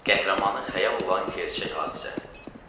Qəhrəmanı xəyal olan gerçək hadisə.